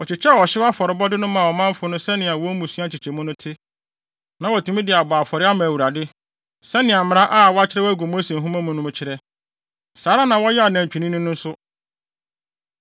Wɔkyekyɛɛ ɔhyew afɔrebɔde no maa ɔmanfo no sɛnea wɔn mmusua nkyekyɛmu no te, na wɔatumi de abɔ afɔre ama Awurade, sɛnea mmara a wɔakyerɛw agu Mose nhoma no mu no kyerɛ. Saa ara na wɔyɛɛ anantwinini no nso.